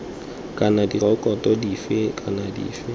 kana direkoto dife kana dife